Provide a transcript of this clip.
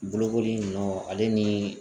Bolokoli nunnu ale ni